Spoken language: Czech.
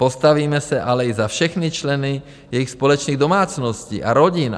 Postavíme se ale i za všechny členy jejich společných domácností a rodin.